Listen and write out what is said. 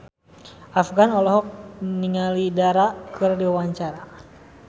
Afgan olohok ningali Dara keur diwawancara